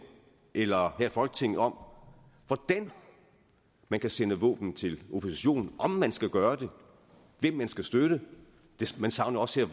eller her i folketinget om hvordan man kan sende våben til oppositionen om man skal gøre det hvem man skal støtte man savner også